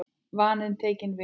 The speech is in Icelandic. Vaninn tekinn við.